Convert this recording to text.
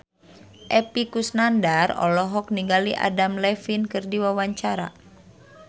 Epy Kusnandar olohok ningali Adam Levine keur diwawancara